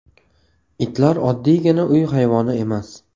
Itlar oddiygina uy hayvoni emas.